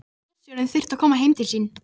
Bílstjórinn þurfti að komast heim til sín.